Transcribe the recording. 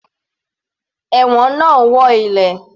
Ẹ̀wọ̀n náà ń wọ́ ilẹ̀.